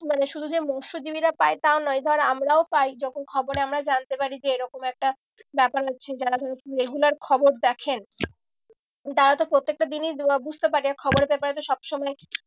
মানে শুধু যে মৎসজীবিরা পায় তাও নয় ধর আমরাও পাই যখন খবরে আমরা জানতে পারি যে এরকম একটা ব্যাপার হচ্ছে। যারা ধর regular খবর দেখেন তারা তো প্রত্যেকটা দিনিই বুঝতে থাকে খবরে paper তো সব সময়